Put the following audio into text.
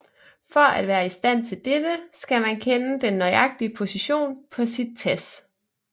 For at være i stand til dette skal man kende den nøjagtige position på sit TASS